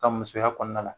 Ka musoya kɔnɔna la